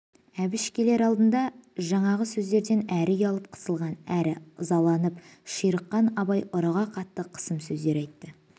әбіш келер алдында жаңағы сөздерден әрі ұялып қысылған әрі ызаланып ширыққан абай ұрыға қатты қысым сөздер айтты